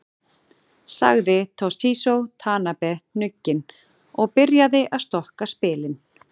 Sagði Toshizo Tanabe hnugginn og byrjaði að stokka spilin.